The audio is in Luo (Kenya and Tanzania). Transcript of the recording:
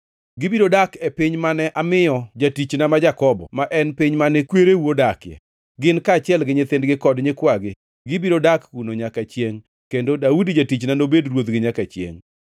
Gibiro dak e piny mane amiyo jatichna ma Jakobo, ma en piny mane kwereu odakie. Gin kaachiel gi nyithindgi kod nyikwagi, gibiro dak kuno nyaka chiengʼ, kendo Daudi jatichna nobed ruodhgi nyaka chiengʼ.